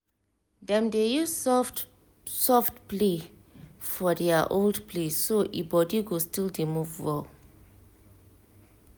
dem dey use soft-soft play for their old place so e body go still dey move well